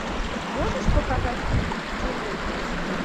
можешь показать фильм чужие письма